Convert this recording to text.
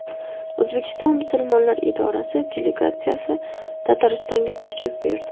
O‘zbekiston musulmonlar idorasi delegatsiyasi Tataristonga tashrif buyurdi.